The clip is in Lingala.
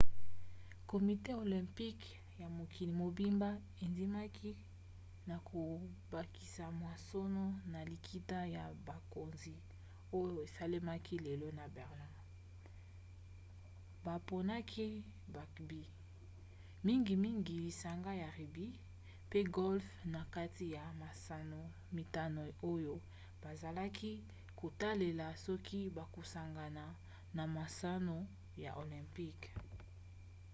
komite olympique ya mokili mobimba endimaki na kobakisa masano na likita ya bakonzi oyo esalemaki lelo na berlin. baponaki bugby mingimingi lisanga ya rugby pe golfe na kati ya masano mitano oyo bazalaki kotalela soki bakosangana na masano ya olympique